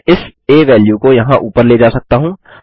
मैं इस आ वेल्यू को यहाँ ऊपर ले जा सकता हूँ